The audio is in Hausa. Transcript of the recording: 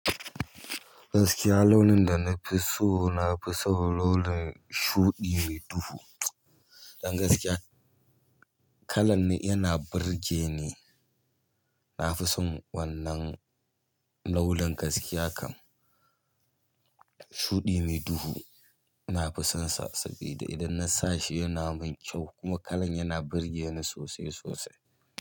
Gaskiya launin da nafiso, nafison launi shuɗi mai duhu don gaskiya kalan ne yana burge ni. Nafison wannan launin gaskiya kan shuɗi mai duhu. Nafisan sa sabida idan na sashi yana min kyau kuma kalan yana birgeni sosai sosai.